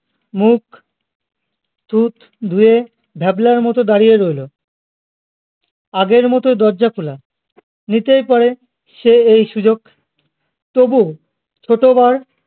মুখ টুক ধুয়ে ভ্যাবলার মতো দাঁড়িয়ে রইলো আগের মতো দরজা খোলা নিতেই পারে সে এই সুযোগ তবুও কতবার